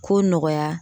Ko nɔgɔya